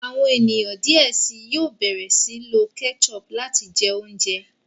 àwọn ènìyàn diẹ síi yóò bẹrẹ sii lo ketchup láti jẹ oúnjẹ.